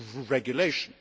Regulation.